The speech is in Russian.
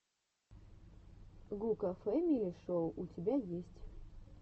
гука фэмили шоу у тебя есть